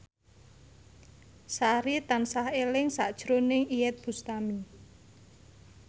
Sari tansah eling sakjroning Iyeth Bustami